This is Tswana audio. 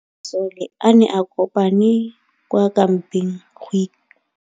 Masole a ne a kopane kwa kampeng go ipaakanyetsa ntwa.